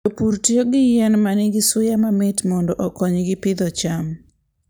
Jopur tiyo gi yien ma nigi suya mamit mondo okonygi pidho cham.